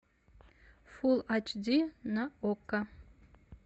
фулл ач ди на окко